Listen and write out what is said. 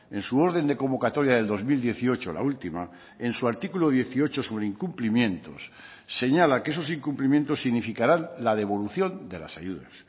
en su orden de convocatoria del dos mil dieciocho la última en su artículo dieciocho sobre incumplimientos señala que esos incumplimientos significarán la devolución de las ayudas